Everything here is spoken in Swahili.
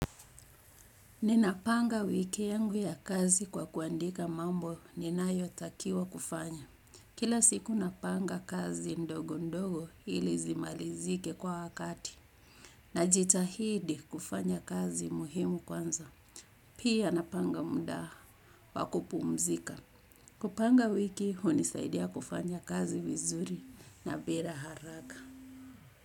Ninapanga wiki yangu ya kazi kwa kuandika mambo ninayo takiwa kufanya. Kila siku napanga kazi ndogo ndogo ili zimalizike kwa wakati najitahidi kufanya kazi muhimu kwanza. Pia napanga muda wa kupumzika. Kupanga wiki hunisaidia kufanya kazi vizuri na bila haraka.